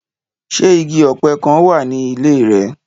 Ṣe igi ọpẹ kan wa ni ile rẹ?